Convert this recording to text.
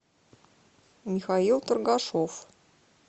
михаил торгашов